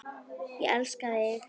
Elsku bróðir og mágur.